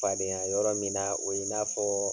Fadenya yɔrɔ min na, o ye n'a fɔ